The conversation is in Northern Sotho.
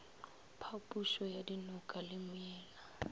phapošo ya dinoka le meela